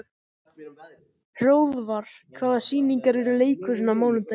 Hróðvar, hvaða sýningar eru í leikhúsinu á mánudaginn?